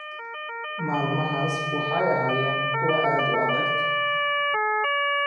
“Maalmahaas waxay ahaayeen kuwo aad u adag.